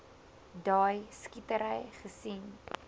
daai skietery gesien